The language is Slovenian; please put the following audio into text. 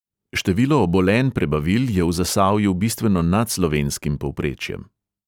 Število obolenj prebavil je v zasavju bistveno nad slovenskim povprečjem.